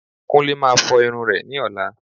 Kúnlé Máa fọ irun rẹ̀ ní ọ̀la